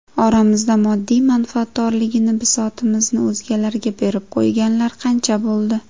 Oramizda moddiy manfaatdorligini, bisotimizni o‘zgalarga berib qo‘yganlar qancha bo‘ldi.